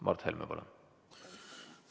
Mart Helme, palun!